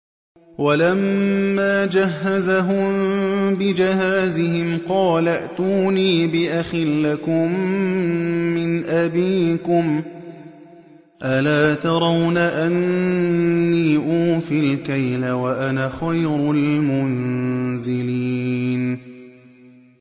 وَلَمَّا جَهَّزَهُم بِجَهَازِهِمْ قَالَ ائْتُونِي بِأَخٍ لَّكُم مِّنْ أَبِيكُمْ ۚ أَلَا تَرَوْنَ أَنِّي أُوفِي الْكَيْلَ وَأَنَا خَيْرُ الْمُنزِلِينَ